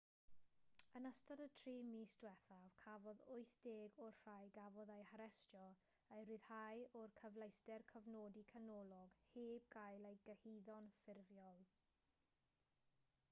yn ystod y 3 mis diwethaf cafodd 80 o'r rhai gafodd eu harestio eu rhyddhau o'r cyfleuster cofnodi canolog heb gael eu cyhuddo'n ffurfiol